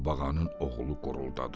Qurbağanın oğlu quruldadı.